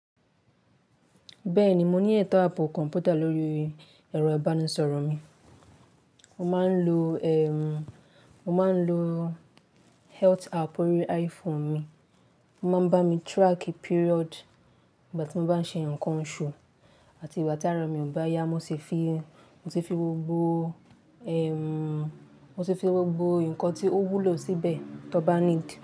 Bẹ́ẹ̀ni, mo ní eto abo kọ̀mpútà lórí ẹ̀rọ ìbánisọ̀rọ̀ mi. Mo máa ń lo, ẹ́, mo máa ń lo health app orí iPhone mi, ó máa ń bá mi track period ìgbà tí mo bá ṣe nǹkan oṣù àti ìgbà tí ara mi ò bá yá. Mo ṣe fi, mo ṣe fi gbogbo, ẹ́, mo ṣe fi gbogbo nǹkan tí ó wúlò síbẹ̀ tó bá ní ìdí.